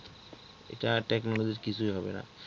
এটা Technology র কিছুই হবে না।